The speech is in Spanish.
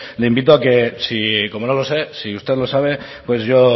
le invito a que si como no lo sé si usted lo sabe pues yo